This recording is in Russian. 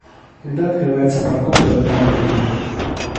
когда открывается парковка в этом отеле